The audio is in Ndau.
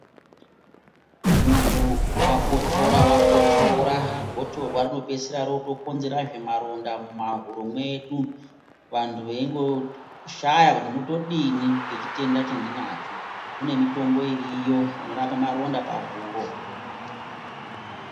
Muntu wakotsora wakotsora gotsorwa rinopedzisira rokonzeresa maronda muhuro medu vantu veishaya kuti todini ngechitenda chandinacho kune mitombo iriyo inorapa maronda pahuro.